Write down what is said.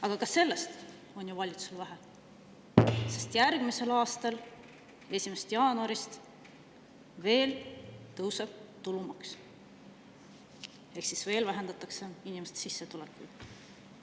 Aga ka sellest on valitsusele vähe, sest järgmise aasta 1. jaanuaril tõuseb tulumaks ehk siis veel vähendatakse inimeste sissetulekuid.